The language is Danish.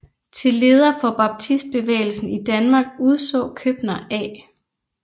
Til leder for baptistbevægelsen i Danmark udså Købner A